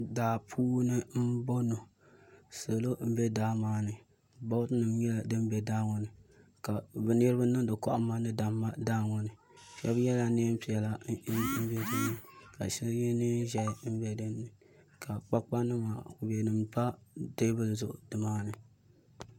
Daa puuni n boŋo salo n bɛ daa ŋo ni bood nim nyɛla din bɛ daa ŋo ni ka niraba niŋdi kohamma ni damma daa ŋo ni shab yɛla neen piɛla ka shabyɛ neen ʒiɛhi bɛ dinni ka kpakpa nima ni kubɛ nim pa teebuli zuɣu nimaani